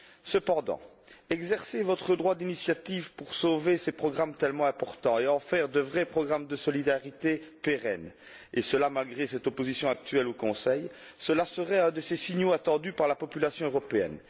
Cependant, exercer votre droit d'initiative pour sauver ces programmes tellement importants et en faire de vrais programmes de solidarité pérennes et ce, malgré l'opposition actuelle au Conseil, voilà qui offrirait un de ces signaux attendus par la population européenne.